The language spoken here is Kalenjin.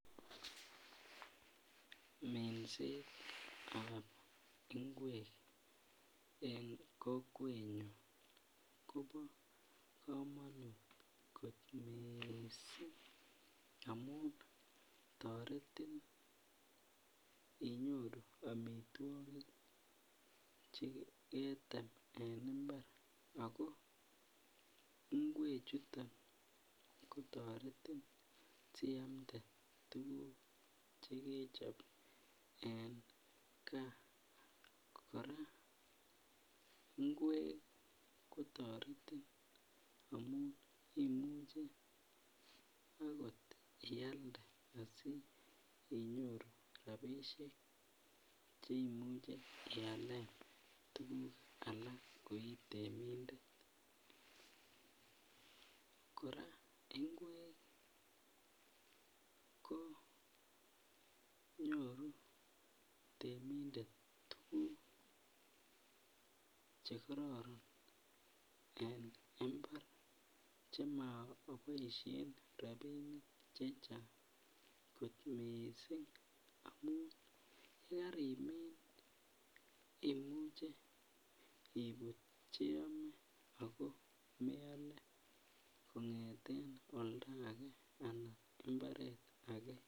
Minset ab ingwek en kokwenyun Kobo komonut kit missing amun toretin inyoru omitwokik cheketem en imbar ako ingwek chuto kotoretin si amde tukuk chekechob en gaa . Koraa ingwek kotoretin amun imuche okot ialde asi inyoru rabishek cheimuche ialen tukuk alak ko itemindet. Koraa ingwek ko nyoru temindet tukuk chekororon en imbar chekiboishen rabinik chechang kot missing amun yekarimin imuche ibut cheime ako meole kongeten oldage anan imbaret age.